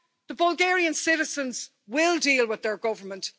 The Bulgarian citizens will deal with their government.